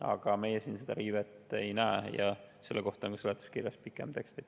Aga meie siin seda riivet ei näe ja selle kohta on seletuskirjas pikem tekst.